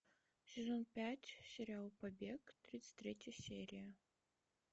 сезон пять сериал побег тридцать третья серия